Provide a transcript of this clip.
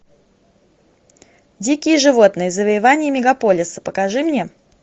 дикие животные завоевание мегаполиса покажи мне